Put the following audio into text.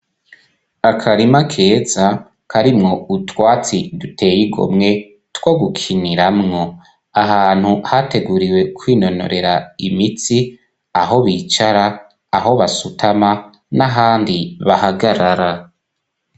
Akarima keza karimwo utwatsi duteye igomwe two gukiniramwo ahantu hateguriwe kwinonorera imitsi aho bicara aho basutama n'ahandi bahagarara.